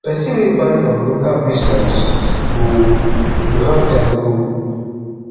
pesin wey buy from local business go go help dem grow